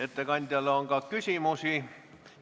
Ettekandjale on ka küsimusi.